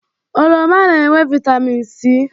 Oroma na-enwe vaịtamin C.